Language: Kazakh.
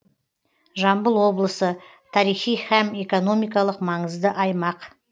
жамбыл облысы тарихи һәм экономикалық маңызды аймақ